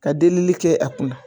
Ka delili kɛ a kunna.